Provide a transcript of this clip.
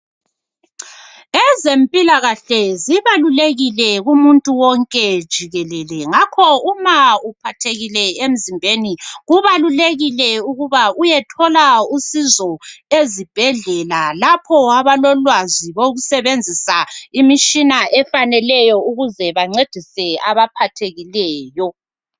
ezempilakahle zibalulekile kumuntu wonke jikelele ngakho uma uphathekile emzimbeni kubalulekile ukuba uyethola usizo ezibhedlela lapho abalolwazi lokusebenzisa imitshina efaneleyo ukuze bancedise abaphathekileyo